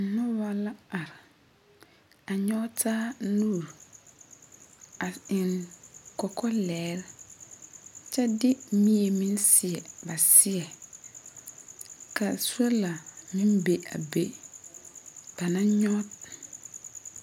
Noba la are a nyɔge taa nuuri a eŋ kɔkɔlɛgre kyɛ de mie meŋ seɛ ba seɛŋ ka sola meŋ be a be ba naŋ nyɔge.